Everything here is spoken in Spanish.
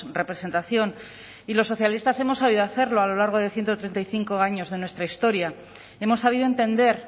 representación y los socialistas hemos sabido hacerlo a lo largo de ciento treinta y cinco años de nuestra historia hemos sabido entender